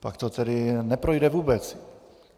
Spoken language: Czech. Pak to tedy neprojde vůbec.